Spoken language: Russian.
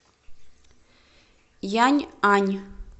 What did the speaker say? яньань